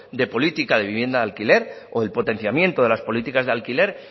de política de vivienda de alquiler o del potenciamiento de las políticas de alquiler